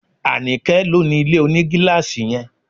Anike ló ni ilé onigilaasi yẹn